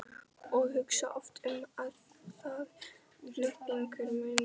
og hugsa oft um það hnugginn, hver muni biðja þín.